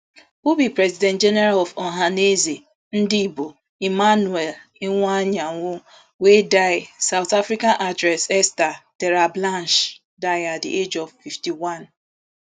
who be president general of ohanaeze ndigbo emmanuel iwuanyanwu wey die south african actress esta terblanche die at di age of fifty-one